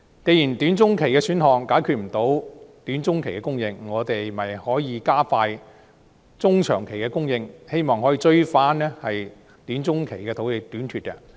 既然短中期選項無法解決短中期的供應，我們是否可以加快中長期的供應，希望追及短中期的土地短缺？